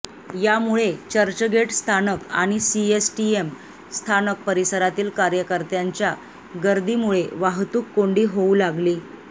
यामुळे चर्चगेट स्थानक आणि सीएसटीम स्थानक परिसरातील कार्यकर्त्यांच्या गर्दीमुळे वाहतूककोंडी होऊ लागली